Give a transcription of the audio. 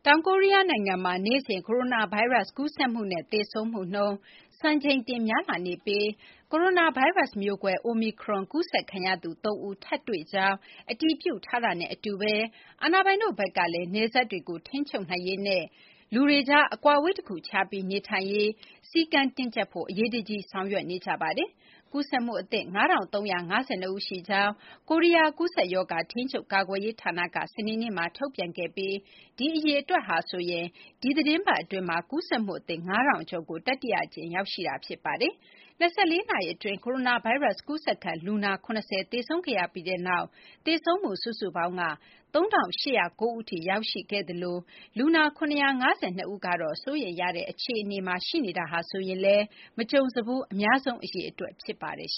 ောင်ကိုရီးယားနိုင်ငံမှာ နေ့စဉ် ကိုရိုနာဗိုင်းရပ်စ် ကူးစက်မှုနဲ့ သေဆုံးမှုနှုန်း စံချိန်တင် များလာနေပြီး ကိုရိုနာဗိုင်းရပ်စ် မျိုးကွဲ အိုမီခရွန် ကူးစက်ခံရသူ ၃ ဦး ထပ်မံတွေ့ရှိကြောင်း အတည်ပြုထားတာနဲ့ အတူပဲ အာဏာပိုင်တို့ဘက်ကလည်း နယ်စပ်တွေကို ထိန်းချုပ်နိုင်ရေးနဲ့ လူတွေကြား အကွာအဝေးတခုခြားပြီး နေထိုင်ရေး စည်းကမ်းတင်းကျပ်ဖို့ အရေးတကြီး ဆောင်ရွက်နေကြပါတယ်။ ကူးစက်မှုအသစ် ၅,၃၅၂ ဦးရှိကြောင်း ကိုရီးယား ကူးစက်ရောဂါ ထိန်းချုပ်ကာကွယ်ရေး ဌာနက စနေနေ့မှာ ထုတ်ပြန်ခဲ့ပြီး ဒီအရေအတွက်ဟာဆိုရင် ဒီသီတင်းပတ်အတွင်း ကူးစက်မှုအသစ် ၅,၀၀၀ ကျော်ကို တတိယအကြိမ် ရောက်ရှိခဲ့တာ ဖြစ်ပါတယ်။ ၂၄ နာရီအတွင်း ကိုရိုနာဗိုင်းရပ်စ် ကူးစက်ခံလူနာ ၇၀ သေဆုံးခဲ့ရပြီးနောက် သေဆုံးမှု စုစုပေါင်းက ၃,၈၀၉ ဦးထိ ရောက်ရှိခဲ့သလို လူနာ ၇၅၂ ဦးကတော့ စိုးရိမ်ရတဲ့ အခြေအနေမှာ ရှိနေတာဟာဆိုရင်လည်း မကြုံစဘူး အများဆုံး အရေအတွက် ဖြစ်ပါတယ်။